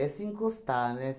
se encostar, né?